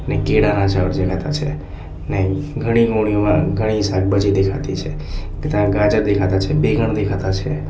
ને કેળાના ઝાડ છે ને ઘણી ગુણીઓમાં ઘણી શાકભાજી દેખાતી છે તથા ગાજર દેખાતા છે વેંગણ દેખાતા છે.